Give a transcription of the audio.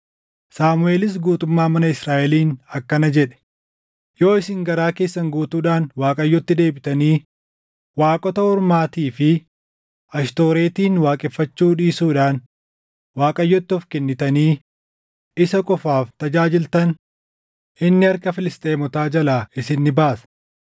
Saamuʼeelis guutummaa mana Israaʼeliin akkana jedhe; “Yoo isin garaa keessan guutuudhaan Waaqayyotti deebitanii, waaqota ormaatii fi Ashtooretin waaqeffachuu dhiisuudhaan Waaqayyotti of kennitanii isa qofaaf tajaajiltan, inni harka Filisxeemotaa jalaa isin ni baasa.”